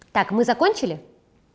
так мы закончили